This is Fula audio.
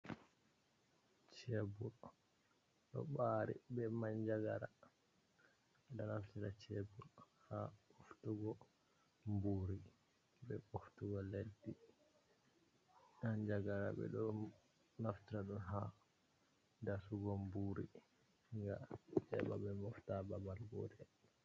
Chebul ɗo ɓari be manjagara, naftira bechebul ha ɓoftugo mburi be ɓoftugo leddi, anjagara ɓe ɗo naftira ɗun ha dasugo mburi ngam heɓa ɓe mofta babal gotel.